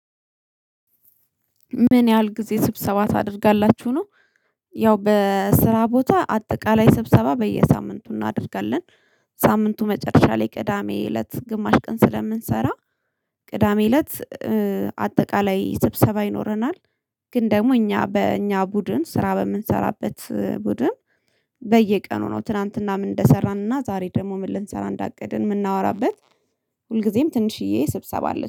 ምን ያህል ጊዜ ስብሰባ ታደርጋላችሁ ነው? ያው በስራ ቦታ አጠቃላይ ስብሰባ በየሳምንቱ እናደርጋለን። ሳምንቱ መጨረሻ ላይ ቅዳሜ እለት ግማሽ ቀን ስለምንሰራ። ቅዳሜ እለት አጠቃላይ ስብሰባ ይኖረናል። ግን ደግሞ እኛ በእኛ ቡድን ስራ በምንሰራበት ቡድን በየቀኑ ነው ትላንትና ምን እንደሰራንና ዛሬ ደግሞ ምን ልንሰራ እንዳቀድን የምናወራበት። ሁልጊዜም ትንሽዬ ስብሰባ አለች